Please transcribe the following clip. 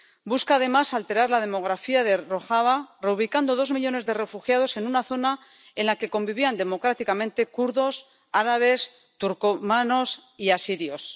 Busca, además, alterar la demografía de Rojava, reubicando dos millones de refugiados en una zona en la que convivían democráticamente kurdos, árabes, turcomanos y asirios.